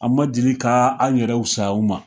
An ma deli k'a an yɛrɛw fisaya u ma.